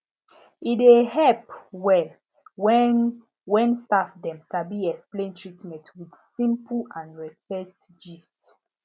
e dey help well when when staff dem sabi explain treatment with simple and respect gist